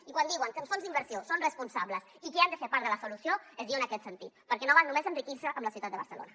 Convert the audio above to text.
i quan diuen que els fons d’inversió són responsables i que han de ser part de la solució es diu en aquest sentit perquè no val només enriquir s’hi amb la ciutat de barcelona